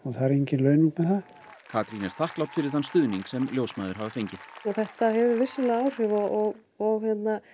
það er engin launung með það Katrín er þakklát fyrir þann stuðning sem ljósmæður hafa fengið þetta hefur vissulega áhrif og og